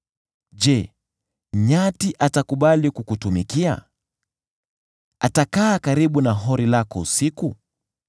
“Je, nyati atakubali kukutumikia? Atakaa karibu na hori lako usiku?